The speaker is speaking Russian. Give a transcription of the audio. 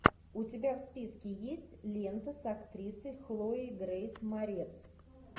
у тебя в списке есть лента с актрисой хлоей грейс морец